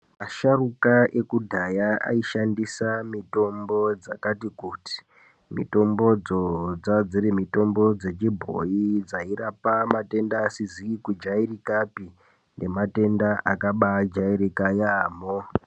Asharuka akudhaya aishandisa mitombo dzakati kuti . Mitombodzo dzaadziri mitombo dzechibhoyi dzairapa matenda asizi kujairikapi, nematenda akabaajairika yaamho.